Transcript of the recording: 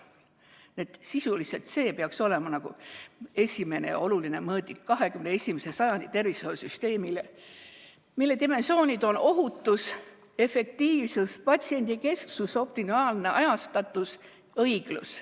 Nii et sisuliselt peaks see olema esimene ja oluline mõõdik 21. sajandi tervishoiusüsteemis, mille dimensioonid on ohutus, efektiivsus, patsiendikesksus, optimaalne ajastatus ja õiglus.